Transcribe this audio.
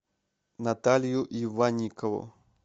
наталью иванникову